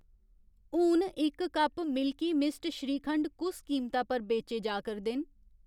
हून इक cup milky mist shrikhand कुस कीमता पर बेचे जा करदे न?